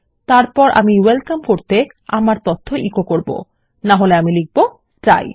এরপর my welcome করতে আমার তথ্য এচো আউট করব নাহলে আমি বলব ডাই